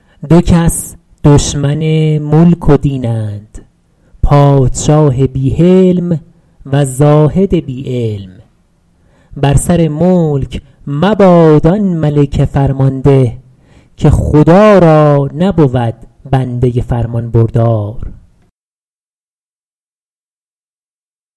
دو کس دشمن ملک و دینند پادشاه بی حلم و زاهد بی علم بر سر ملک مباد آن ملک فرمانده که خدا را نبود بنده فرمانبردار